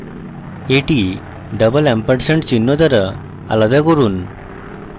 এটি double ampersand চিহ্ন দ্বারা আলাদা করুন